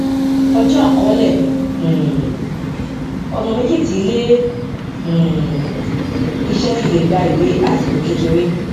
ọjó àkọólè um ònà méjì tí ilé um iṣé fi lè gba ìwé àsìkò kékeré